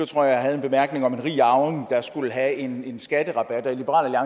tror jeg en bemærkning om en rig arving der skulle have en en skatterabat og i liberal